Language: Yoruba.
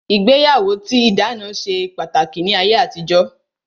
Ìgbéyàwó tí ìdáná ṣe pàtàkì ní ayé àtijó